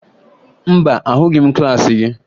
Mba, ahụghị m klaasị gị